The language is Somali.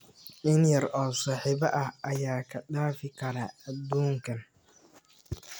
In yar oo saaxiibo ah ayaa kaa dhaafi kara adduunkan.